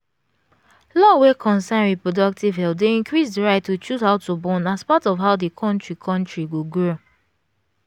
law wey concern reproductive health dey increase the right to choose how to born as part of how di country country go grow